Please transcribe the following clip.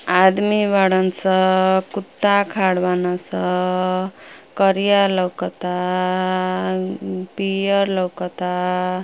आदमी बाड़न स। कुत्ता खाड़ बान स। करिया लउकता। पियर लउकता।